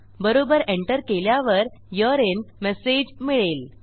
बरोबर एंटर केल्यावर यूरे इन मेसेज मिळेल